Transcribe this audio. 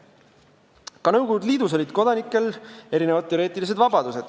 Ka Nõukogude Liidus olid kodanikel erinevad teoreetilised vabadused.